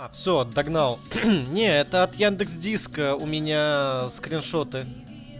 т догнал не это от яндекс диска у меня скриншоты